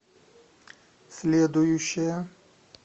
следующая